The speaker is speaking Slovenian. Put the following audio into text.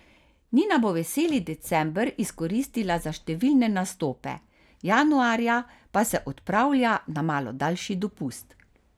Nina bo veseli december izkoristila za številne nastope, januarja pa se odpravlja na malo daljši dopust.